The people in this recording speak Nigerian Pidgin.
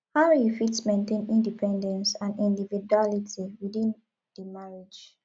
how you fit maintain independence and individuality within di marriage